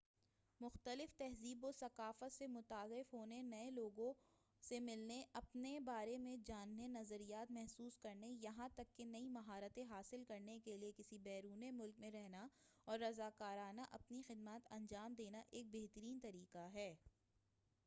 مختلف تہذیب و ثقافت سے متعارف ہونے نئے لوگوں سے ملنے اپنے بارے میں جاننے نظریات محسوس کرنے یہاں تک کہ نئی مہارتیں حاصل کرنے کیلئے کسی بیرون ملک میں رہنا اور رضاکارانہ اپنی خدمات انجام دینا ایک بہترین طریقہ ہے